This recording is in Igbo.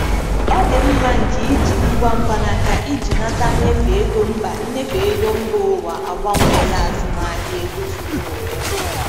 Ọdịmma nke iji ngwa mkpanaka iji nata nnyefe ego mba nnyefe ego mba ụwa agbanweela azụmahịa ego zuru ụwa ọnụ.